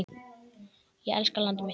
Ég elska landið mitt.